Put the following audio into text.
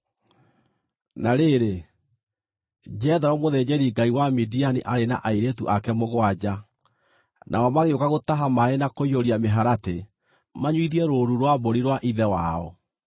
Na rĩrĩ, Jethero mũthĩnjĩri-ngai wa Midiani aarĩ na airĩtu ake mũgwanja, nao magĩũka gũtaha maaĩ na kũiyũria mĩharatĩ manyuithie rũũru rwa mbũri rwa ithe wao.